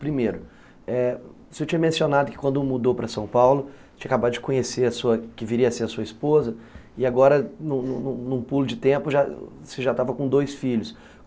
Primeiro, eh você tinha mencionado que quando mudou para São Paulo, tinha acabado de conhecer a sua... que viria a ser a sua esposa, e agora, num num num pulo de tempo, você já estava com dois filhos.